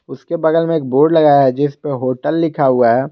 उसके बगल में एक बोर्ड लगाया है जिसपे होटल लिखा है।